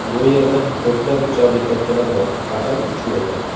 Bu yerda ko‘plab uchar likopchalar bor, faqat uchmaydi.